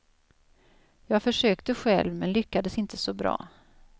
Jag försökte själv, men lyckades inte så bra.